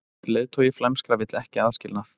Leiðtogi flæmskra vill ekki aðskilnað